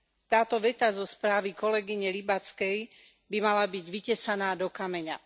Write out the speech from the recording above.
Táto veta zo správy kolegyne Łybackej by mala byť vytesaná do kameňa.